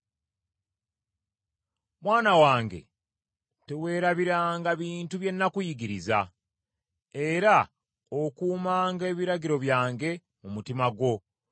Mwana wange, teweerabiranga bintu bye nakuyigiriza, era okuumanga ebiragiro byange mu mutima gwo,